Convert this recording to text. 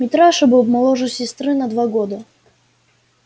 митраша был моложе сестры на два года